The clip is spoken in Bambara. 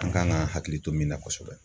An kan ka hakili to min na kosɛbɛ.